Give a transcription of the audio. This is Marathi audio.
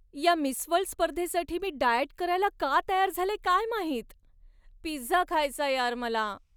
या मिस वर्ल्ड स्पर्धेसाठी मी डाएट करायला का तयार झाले काय माहित. पिझ्झा खायचाय यार मला.